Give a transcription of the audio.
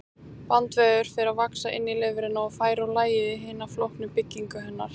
Bandvefur fer að vaxa inn í lifrina og færa úr lagi hina flóknu byggingu hennar.